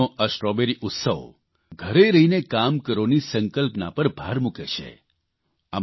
ઝાંસીનો આ સ્ટ્રોબેરી ઉત્સવ ઘરે રહીને કામ કરોની સંકલ્પના પર ભાર મૂકે છે